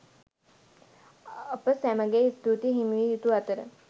අප සැමගේ ස්තූතිය හිමි විය යුතු අතර